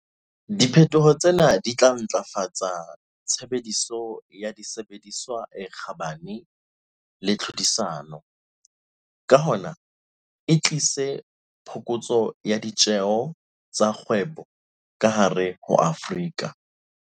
Di phetoho tsena di tla ntlafatsa tshebediso ya disebediswa e kgabane le tlhodisano, ka hona e tlise phokotso ya ditjeho tsa kgwebo ka hare ho Afrika